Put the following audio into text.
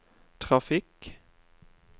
trafikk